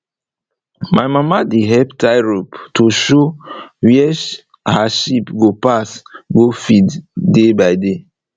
my mama dey help tie rope to show where her sheep go pass go feed day by day